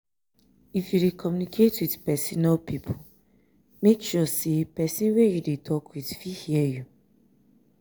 if you de communicate with persin or pipo make sure say wey you de talk with fit hear you